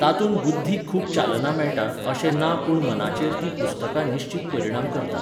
तातूंत बुध्दीक खूब चालना मेळटा अशें ना पूण मनाचेर तीं पुस्तकां निश्चीत परिणाम करतात.